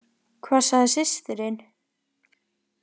Hvað sagði systirin?